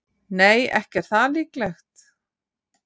Nei, ekki er það líklegt.